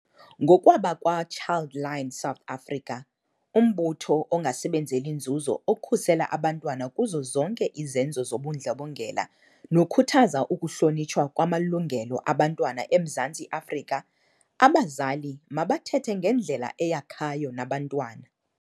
Ngokwabakwa-Childline South Africa, umbutho ongasebenzeli nzuzo okhusela abantwana kuzo zonke izenzo zobundlobongela nokhuthaza ukuhlonitshwa kwamalungelo abantwana eMzantsi Afrika, abazali mabathethe ngendlela eyakhayo nabantwana.